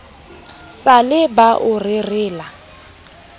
sa le ba o rerela